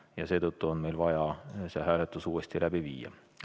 Ja seetõttu on meil vaja see hääletus uuesti läbi viia.